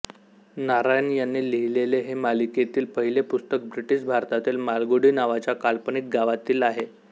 नारायण यांनी लिहिलेले हे मालिकेतील पहिले पुस्तक ब्रिटीश भारतातील मालगुडी नावाच्या काल्पनिक गावातील आहे